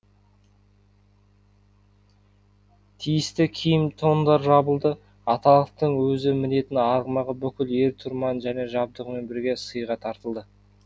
тиісті киім тондар жабылды аталықтың өзі мінетін арғымағы бүкіл ер тұрман және жабдығымен бірге сыйға тартылды